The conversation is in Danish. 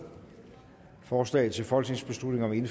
forslaget til folketingsbeslutning